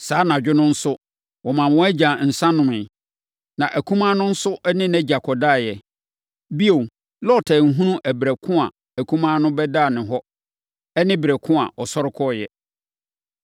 Saa anadwo no nso, wɔmaa wɔn agya nsã nomeeɛ. Na akumaa no nso ne nʼagya kɔdaeɛ. Bio, Lot anhunu ɛberɛ ko a akumaa no de bɛdaa hɔ ne ɛberɛ ko a ɔsɔre kɔeɛ.